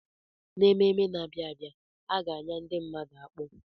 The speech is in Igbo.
N'ememe na-abịa, a ga-enya ndi mmadu akpu.